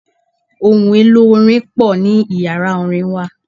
Ohun-èlò orin pò ní Ìyàrá orin wa.